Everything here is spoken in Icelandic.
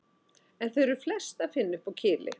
En þau er flest að finna uppi á Kili.